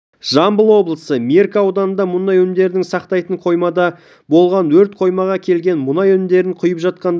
жамбыл облысы меркі ауданында мұнай өнімдерін сақтайтын қоймада болған өрт қоймаға келген мұнай өнімдерін құйып жатқанда